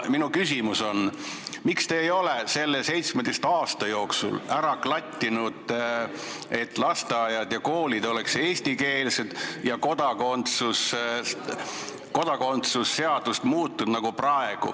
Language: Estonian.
Minu küsimus on: miks te ei ole selle 17 aasta jooksul ära klattinud, et lasteaiad ja koolid oleks eestikeelsed ja kodakondsusseadus muutunud?